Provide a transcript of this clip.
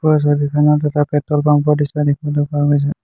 এই ছবিখনত এটা পেট্ৰ'ল পাম্প ৰ দৃশ্য দেখিবলৈ পোৱা গৈছে।